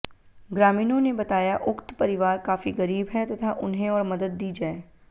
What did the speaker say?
ग्रामीणों ने बताया उक्त परिवार काफी गरीब है तथा उन्हें और मदद दी जाए